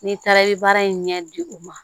N'i taara i bɛ baara in ɲɛ di u ma